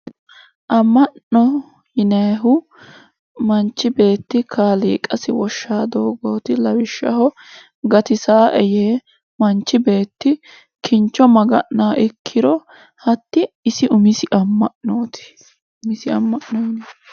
Ama'no yinayihu manchi beetti kaaliqasi woshshanirano doogoti lawishshaho gatisanoe yee manchi beetti kincho maga'nanoha ikkiro hatti isi umisi ama'noti